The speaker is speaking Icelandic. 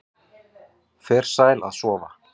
Fer sæl að sofa